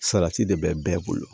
Salati de bɛ bɛɛ bolo